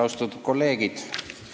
Austatud kolleegid!